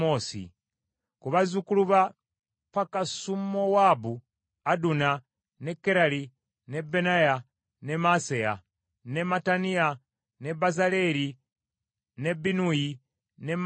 Ku bazzukulu ba Pakasumowaabu: Aduna, ne Kerali, ne Benaya, ne Maaseya, ne Mattaniya, ne Bezaleeri, ne Binnuyi ne Manase.